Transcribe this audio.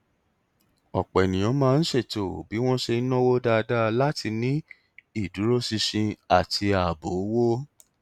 ọpọ ènìyàn máa ń ṣètò bí wọn ṣe ń náwó dáadáa láti ní ìdúróṣinṣin àti ààbò owó